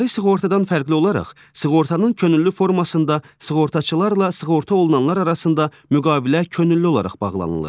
İcbari sığortadan fərqli olaraq sığortanın könüllü formasında sığortaçılarla sığortalananlar arasında müqavilə könüllü olaraq bağlanılır.